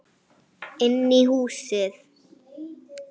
Inn í húsið?